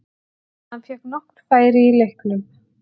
Hann fékk nokkur færi í leiknum.